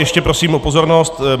Ještě prosím o pozornost.